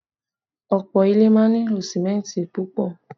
Òpó ilé máa ń nílò símẹ́ntì púpọ̀